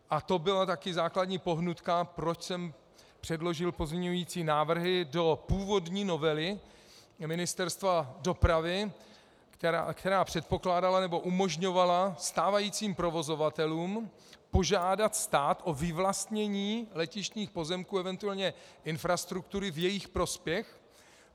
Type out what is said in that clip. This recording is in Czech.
A to byla taky základní pohnutka, proč jsem předložil pozměňující návrhy do původní novely Ministerstva dopravy, která předpokládala, nebo umožňovala stávajícím provozovatelům požádat stát o vyvlastnění letištních pozemků, eventuálně infrastruktury v jejich prospěch.